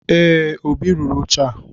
Ee, Obi rụrụ oche a